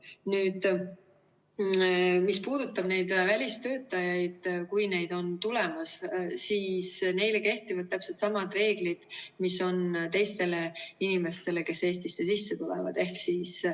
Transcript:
Nüüd, mis puudutab neid välistöötajaid, kui neid on tulemas, siis neile kehtivad täpselt samad reeglid, mis on teistele inimestele, kes Eestisse tulevad.